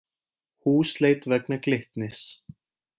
Húsleit vegna Glitnis